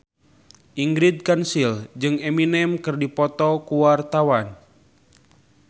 Ingrid Kansil jeung Eminem keur dipoto ku wartawan